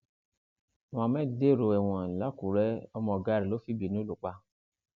muhammed dèrò ẹwọn làkùrẹ ọmọ ọgá rẹ ló fìbínú lù pa